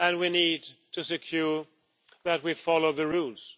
And we need to ensure that we follow the rules.